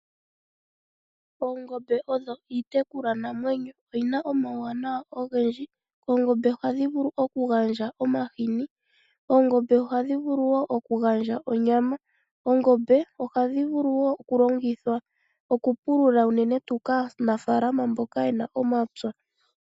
Oongombe odho iitekulwa namwenyo, oyina omauwanawa ogendji oongombe ohadhi vulu okugandja omahini, oongombe ohadhi vulu okugandja onyama, oongombe ohadhi vulu okulongithwa okupulula uunene tuu kaanafalama mboka yena omapya.